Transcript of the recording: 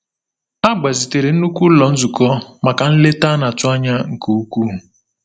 A gbazitere nnukwu ụlọ nzukọ maka nleta a na-atụ anya nke ukwuu.